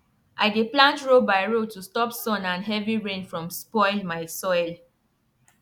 i dey plant row by row to stop sun and heavy rain from spoil my soil